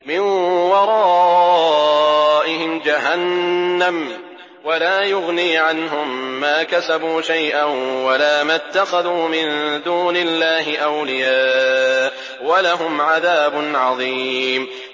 مِّن وَرَائِهِمْ جَهَنَّمُ ۖ وَلَا يُغْنِي عَنْهُم مَّا كَسَبُوا شَيْئًا وَلَا مَا اتَّخَذُوا مِن دُونِ اللَّهِ أَوْلِيَاءَ ۖ وَلَهُمْ عَذَابٌ عَظِيمٌ